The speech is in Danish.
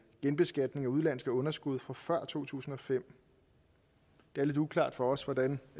genbeskatning af udenlandske underskud fra før to tusind og fem det er lidt uklart for os hvordan